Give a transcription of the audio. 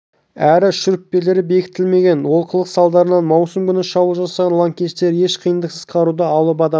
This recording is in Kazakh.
әрі шүріппелері бекітілмеген олқылық салдарынан маусым күні шабуыл жасаған лаңкестер еш қиындықсыз қаруды алып адамды